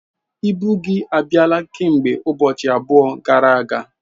Ibu gị abịala kemgbe ụbọchị abụọ gara aga.